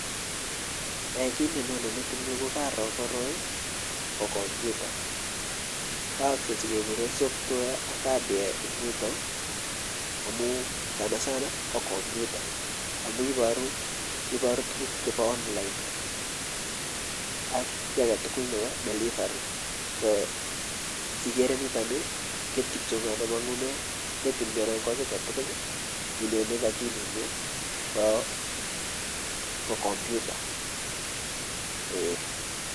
Eeh kiit nenyone metinyun ko Karoo koroi ko kompyuta, yookse cgekekuren software ak hardware en yutok amun sana sana ko kompyuta amun iboru tukuk chebo online ak kii aketukul nebo delivery ko sikere niton nii kiit kityo nemongune metinyun anan ko kii aketukul nenyone en okilinyun ko kompyuta Um.